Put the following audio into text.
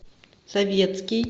советский